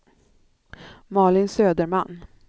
Malin Söderman